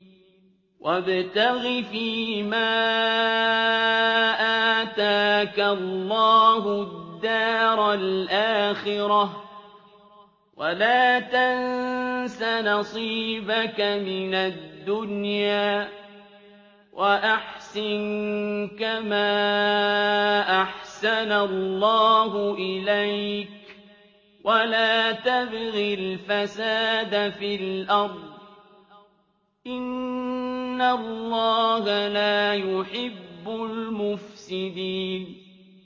وَابْتَغِ فِيمَا آتَاكَ اللَّهُ الدَّارَ الْآخِرَةَ ۖ وَلَا تَنسَ نَصِيبَكَ مِنَ الدُّنْيَا ۖ وَأَحْسِن كَمَا أَحْسَنَ اللَّهُ إِلَيْكَ ۖ وَلَا تَبْغِ الْفَسَادَ فِي الْأَرْضِ ۖ إِنَّ اللَّهَ لَا يُحِبُّ الْمُفْسِدِينَ